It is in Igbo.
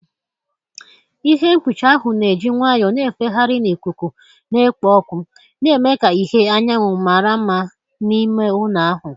Ihe mkpuchi ahụ na-eji nwayọọ na-efegharị na ikuku na-ekpo ọkụ, na-eme ka ìhè anyanwụ mara mma n'ime ụlọ ahụ.